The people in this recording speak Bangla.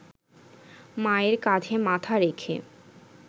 মায়ের কাঁধে মাথা রেখে